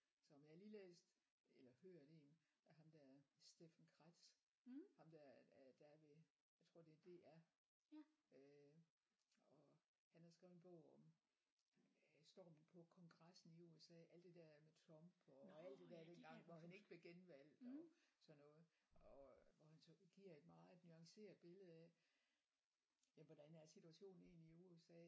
Så men jeg har lige læst eller hørt en af ham der Steffen Kretz ham der er der er ved jeg tror det er DR øh og han har skrevet en bog om øh stormen på Kongressen i USA alt det der med Trump og alt det der dengang hvor han ikke blev genvalgt og sådan noget og hvor han så giver et meget nuanceret billede af ja hvordan er situationen egentlig i USA